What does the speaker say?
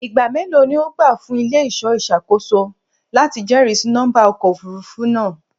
Igba melo ni o gba fun ile-iṣọ iṣakoso lati jẹrisi nọmba ọkọ ofurufu naa?